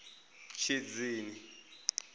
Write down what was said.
tshidzini